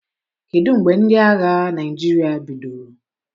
Kedu mgbe ndị agha Naịjirịa bidoro?